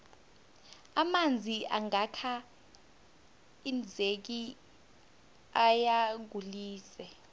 amanzi angaka hinzeki ayagulise